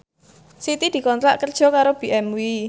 Siti dikontrak kerja karo BMW